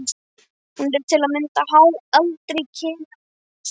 Hún er til að mynda háð aldri, kyni og líkamsbyggingu.